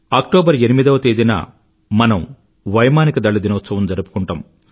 October 8వ తేదీన మనం వైమానిక దళ దినోత్సవం జరుపుకుంటాం